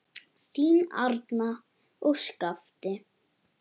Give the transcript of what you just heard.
Þín, Arna og Skafti.